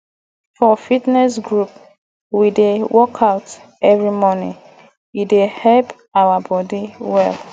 for fitness group we dey workout every morning e dey help our body well